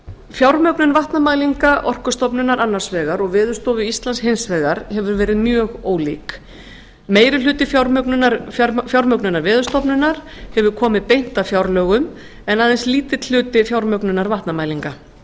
fjármögnun vatnamælinga orkustofnunar annars vegar og veðurstofu íslands hins vegar hefur verið mjög ólík meirihluti fjármögnunar veðurstofunnar hefur komið beint af fjárlögum en aðeins lítill hluti fjármögnunar vatnamælinga